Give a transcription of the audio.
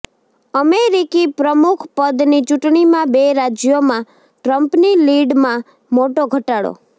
અમેરીકી પ્રમુખપદની ચૂંટણીમાં બે રાજયોમાં ટ્રમ્પની લીડમાં મોટો ઘટાડો